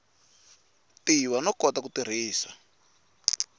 tiva no kota ku tirhisa